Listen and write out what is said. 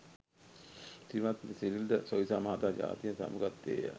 ශ්‍රීමත් සිරිල් ද සොයිසා මහතා ජාතියෙන් සමුගත්තේ ය.